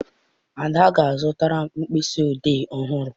Ade ga-azụtara m mkpịsị odee ọhụrụ.